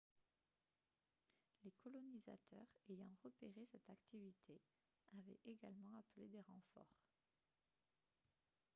les colonisateurs ayant repéré cette activité avaient également appelé des renforts